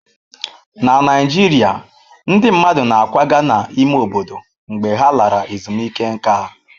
Na Naijiria, ndị mmadụ na-akwaga n'ime obodo mgbe ha lara ezumike nká.